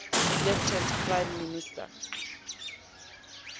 elected prime minister